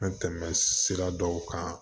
An tɛmɛ sira dɔw kan